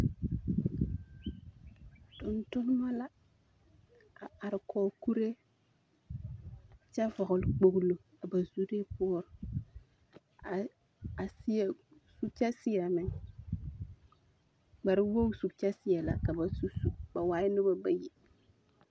Tontonema la a are kɔge kuree kyɛ vɔgele kpogilo ba zuree poɔ, a seɛ su kyɛ -seɛ- meŋ. kpare wogisu kyɛ seɛ la ka ba su su. Ba waaɛ noba bayi.